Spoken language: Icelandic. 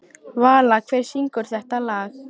Vala, hver syngur þetta lag?